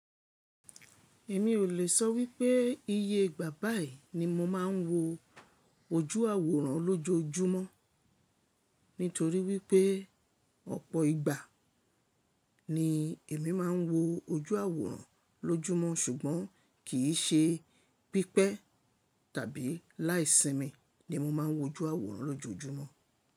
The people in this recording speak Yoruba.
Èmi ò lè sọ wípé iye ìgbà báyìí ni mo máa ń wo ojú àwòrán lójojúmọ́, nítorí wípé ọ̀pọ̀ ìgbà ni èmi máa ń wo ojú àwòrán lójúmọ́, ṣùgbọ́n kì í ṣe pípẹ́ tàbí láìsimi ni mo máa ń wo ojú àwòrán lójojúmọ́.